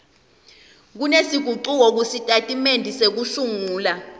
setingucuko kusitatimende sekusungula